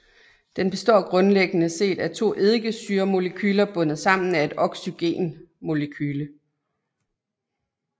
Den består grundlæggende set af to eddikesyremolekyler bundet sammen af et oxygen molekyle